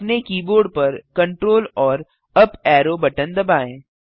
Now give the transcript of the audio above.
अपने कीबोर्ड पर Ctrl AMP up arrow button दबाएँ